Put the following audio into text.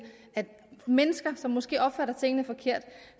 at mennesker som måske opfatter tingene forkert